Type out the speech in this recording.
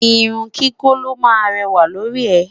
irún kíkọ ló má réwà lórí e